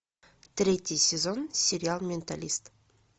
третий сезон сериал менталист